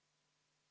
Head kolleegid!